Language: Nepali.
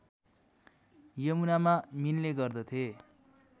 यमुनामा मिल्ने गर्दथे